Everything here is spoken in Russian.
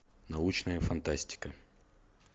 научная фантастика